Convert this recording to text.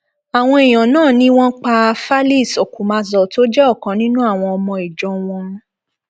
àwọn èèyàn náà ni wọn pa falise okumazor tó jẹ ọkan nínú àwọn ọmọ ìjọ wọn